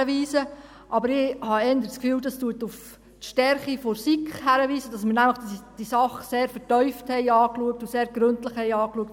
Aber ich habe eher das Gefühl, das weise auf die Stärke der SiK hin, nämlich, dass wir diese Sache sehr vertieft und sehr gründlich angeschaut haben.